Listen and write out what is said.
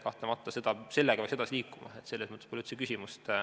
Kahtlemata peaks sellega edasi liikuma, selles pole üldse küsimust.